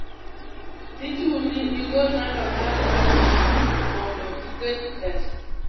dhichuni igol namba mari mar simu mondo iket pesa